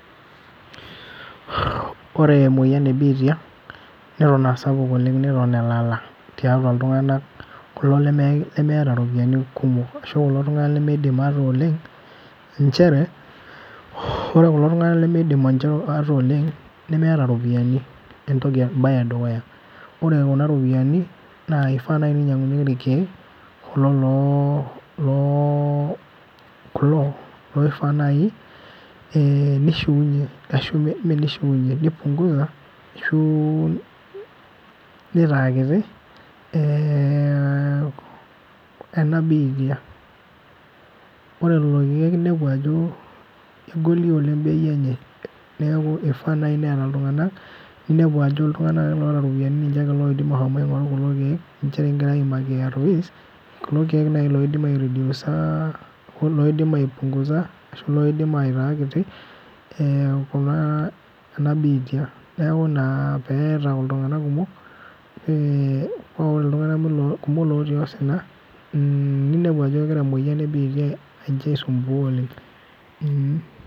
Ore emoyian ebiitia, neton asapuk oleng neton elala tiatua iltung'anak kulo lemeeta iropiyiani kumok, ashu kulo tung'anak lemeidim ate oleng, njere, ore kulo tung'anak lemidim nche ate oleng, nemeeta ropiyiani entoki ebae edukuya. Ore kuna ropiyiani, naa kifaa nai pinyang'unyeki irkeek, kulo loo, kulo loifaa nai nishiunye ashu, me nishiunye ni punguza ashu netaa kiti, ena biitia. Ore lolo keek nepu ajo kegoli oleng bei enye. Neeku ifaa nai neeta iltung'anak, ninepu ajo iltung'anak ota ropiyiani ninche lolo oidim ashomo aing'oru kulo keek, ninche kigira aimaki ARVs, kulo keek noshi loidim airidiusa oloidim ai punguza ashu loidim aitaa kiti, kuna ena biitia. Neeku ina peeta iltung'anak kumok, pa kore iltung'anak kumok lotii osina, ninepu ajo egira emoyian ebiitia nche ai sumbua oleng.